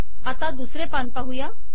आता दुसरे पान पाहुया